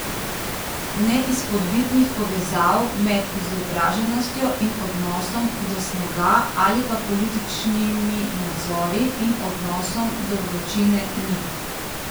Neizpodbitnih povezav med izobraženostjo in odnosom do snega ali pa političnimi nazori in odnosom do vročine ni.